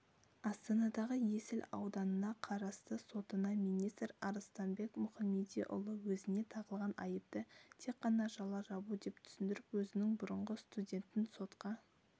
астанадығы есіл ауданына қарасты сотына министр арыстанбек мұхамедиұлы өзіне тағылған айыпты тек қана жала жабу деп түсіндіріп өзінің бұрынғы студентін сотқа